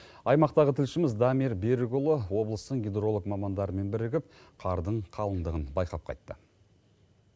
аймақтағы тілшіміз дамир берікұлы облыстың гидролық мамандарымен бірігіп қардың қалдындығын байқап қайтты